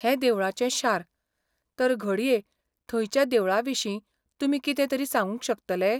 हें देवळांचें शार, तर घडये थंयच्या देवळां विशीं तुमी कितें तरी सांगूंक शकतले?